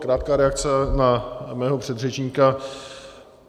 Krátká reakce na mého předřečníka.